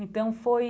Então foi